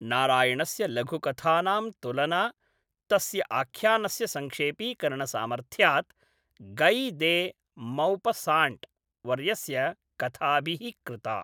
नारायणस्य लघुकथानां तुलना, तस्य आख्यानस्य संक्षेपीकरणसामर्थ्यात् गै दे मौपस्साण्ट् वर्यस्य कथाभिः कृता।